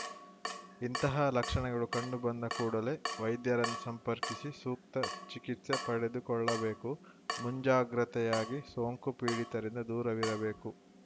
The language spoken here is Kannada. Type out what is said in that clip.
ಇಂತಹ ಲಕ್ಷಣಗಳು ಕಂಡುಬಂದ ಕೂಡಲೇ ವೈದ್ಯರನ್ನು ಸಂಪರ್ಕಿಸಿ ಸೂಕ್ತ ಚಿಕಿತ್ಸೆ ಪಡೆದುಕೊಳ್ಳಬೇಕು ಮುಂಜಾಗ್ರತೆಯಾಗಿ ಸೋಂಕು ಪೀಡಿತರಿಂದ ದೂರವಿರಬೇಕು